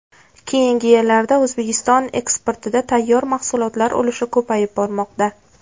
Keyingi yillarda O‘zbekiston eksportida tayyor mahsulotlar ulushi ko‘payib bormoqda.